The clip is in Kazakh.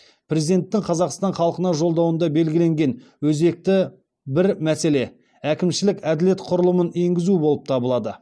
президенттің қазақстан халқына жолдауында белгіленген өзекті бір мәселе әкімшілік әділет құрылымын енгізу болып табылады